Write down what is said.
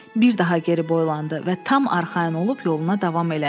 Bir daha geri boylandı və tam arxayın olub yoluna davam elədi.